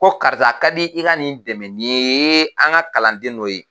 Ko karisa a ka di i ka nin dɛmɛ nin ye an ka kalanden dɔ ye